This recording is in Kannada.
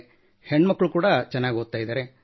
ಹೆಣ್ಣು ಮಕ್ಕಳು ಓದುತ್ತಿದ್ದಾರೆ